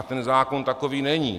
A ten zákon takový není.